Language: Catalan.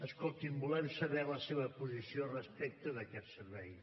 escolti’m volem saber la seva posició respecte d’aquest servei